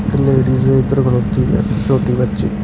ਇਸ਼ ladies ਇਧਰ ਖੱਲੋਤੀ ਹੈ ਛੋਟੀ ਬੱਚੀ --